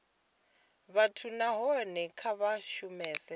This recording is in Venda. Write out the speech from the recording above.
vhathu nahone kha vha shumese